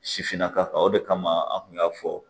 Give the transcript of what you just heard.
Sifinnaka o de kama an kun y'a fɔ